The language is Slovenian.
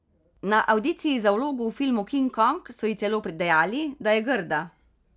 Na avdiciji za vlogo v filmu King Kong so ji celo dejali, da je grda.